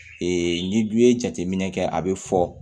n'i dun ye jateminɛ kɛ a bɛ fɔ